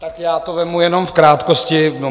Tak já to vezmu jenom v krátkosti.